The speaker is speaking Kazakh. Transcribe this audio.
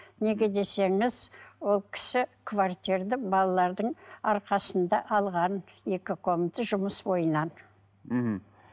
неге десеңіз ол кісі балалардың арқасында алған екі комната жұмыс бойынан мхм